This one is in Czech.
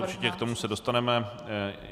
Určitě, k tomu se dostaneme.